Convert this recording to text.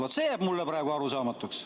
Vaat, see jääb mulle arusaamatuks.